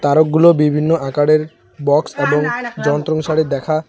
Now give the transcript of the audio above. তারকগুলো বিভিন্ন আকারের বক্স এবং যন্ত্র অনুসারে দেখা।